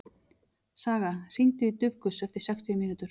Saga, hringdu í Dufgus eftir sextíu mínútur.